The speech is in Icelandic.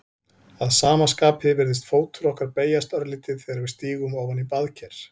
Að sama skapi virðist fótur okkar beygjast örlítið þegar við stígum ofan í baðker.